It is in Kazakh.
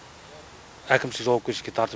әкімшілік жауапкершілікке тартып